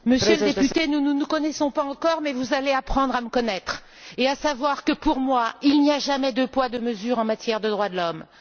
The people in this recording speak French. Monsieur le député, nous ne nous connaissons pas encore mais vous allez apprendre à me connaître et à savoir que, pour moi, il n'y a jamais deux poids, deux mesures en matière de droits de l'homme.